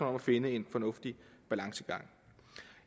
om at finde en fornuftig balance